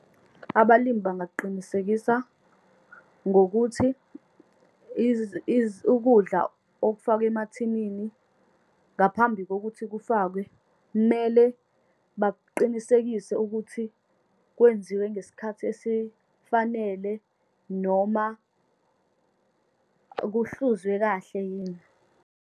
Abalimu bangaqinisekisa ngokuthi ukudla okufakwe emathinini, ngaphambi kokuthi kufakwe, mele baqinisekise ukuthi kwenziwe ngesikhathi esifanele, noma kuhlezwe kahle yini.